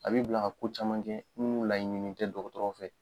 A b'i bila a ko caman kɛ minnu laɲini tɛ dɔgɔtɔrɔ fɛ.